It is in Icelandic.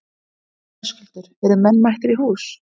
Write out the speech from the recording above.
Höskuldur, eru menn mættir í hús?